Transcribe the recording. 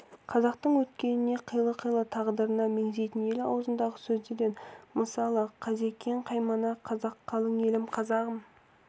қазақтың өткеніне қилы-қилы тағдырына мегзейтін ел аузындағы сөздерден мысалы қазекең қаймана қазақ қалың елім қазағым